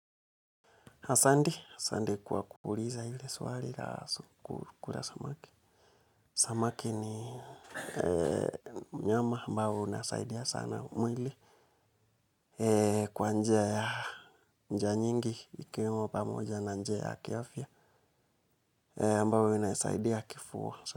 Asandi kuwa kuuliza ili swari la kura samaki. Samaki ni mnyama ambao unasaidia sana mwili kwa njia ya njia nyingi ikiwemo pamoja na njia ya kiafya ambayo inasaidia kifua.